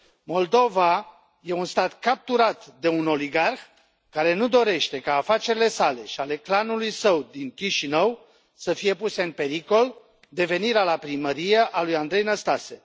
Moldova este un stat capturat de un oligarh, care nu dorește ca afacerile sale și ale clanului său din Chișinău să fie puse în pericol de venirea la primărie a lui Andrei Năstase.